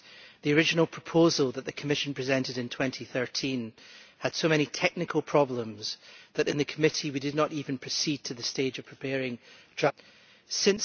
The original proposal that the Commission presented in 2013 had so many technical problems that in the committee we did not even proceed to the stage of preparing draft reports.